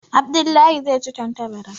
Abdullah zai ci tantabara.